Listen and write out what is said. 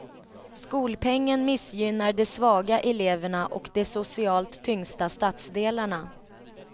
Skolpengen missgynnar de svaga eleverna och de socialt tyngsta stadsdelarna.